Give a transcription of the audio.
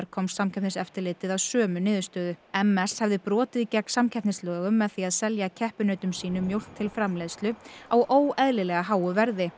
komst Samkeppniseftirlitið að sömu niðurstöðu m s hefði brotið gegn samkeppnislögum með því að selja keppinautum sínum mjólk til framleiðslu á óeðlilega háu verði